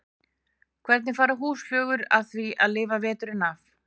Hvernig fara húsflugur að því að lifa veturinn af?